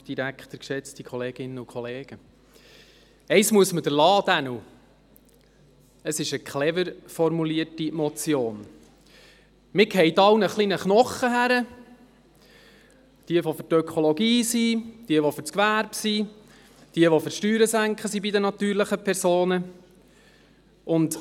Man wirft allen ein wenig einen Knochen hin, jenen, die für die Ökologie sind, jenen, die für das Gewerbe sind, und jenen, die für das Senken der Steuern bei den natürlichen Personen sind.